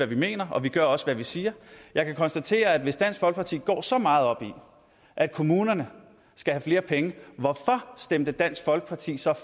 vi mener og vi gør også hvad vi siger hvis dansk folkeparti går så meget op i at kommunerne skal have flere penge hvorfor stemte dansk folkeparti så